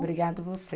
Obrigada a você.